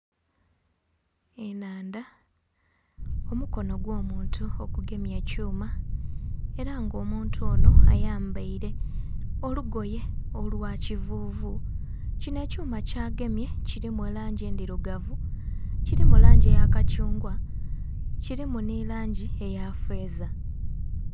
Enhandha omukono ogw'omuntu ogugemye ekyuma era nga omuntu ono ayambaire olugoye olwa kivuvu kino ekyuma kyagemye kirimu langi endhirugavu, kirimu langi eya kathungwa, kirimu ni langi eya feeza.